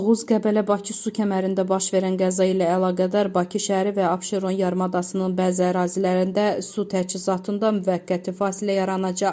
Oğuz-Qəbələ-Bakı su kəmərində baş verən qəza ilə əlaqədar Bakı şəhəri və Abşeron yarımadasının bəzi ərazilərində su təchizatında müvəqqəti fasilə yaranacaq.